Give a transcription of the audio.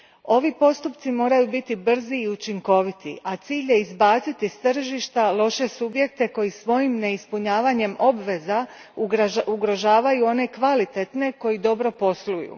Ovi postupci moraju biti brzi i učinkoviti, a cilj je izbaciti s tržišta loše subjekte koji svojim neispunjavanjem obveza ugrožavaju one kvalitetne koji dobro posluju.